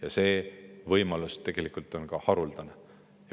Ka see võimalus on haruldane.